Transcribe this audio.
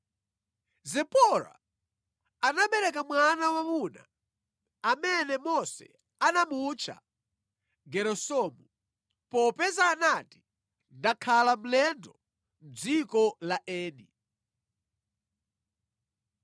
Zipora anabereka mwana wa mwamuna amene Mose anamutcha Geresomu, popeza anati, “Ndakhala mlendo mʼdziko la eni.”